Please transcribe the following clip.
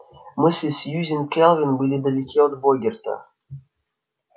мысли сьюзен кэлвин были далеки от богерта